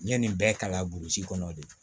N ye nin bɛɛ kalan burusi kɔnɔ de